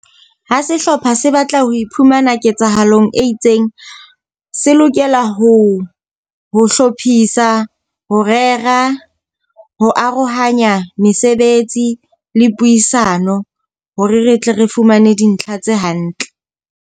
Ha sehlopha se batla ho iphumana ketsahalong e itseng, se lokela ho ho hlophisa, ho rera, ho arohanya mesebetsi le puisano hore re tle re fumane dintlha tse hantle.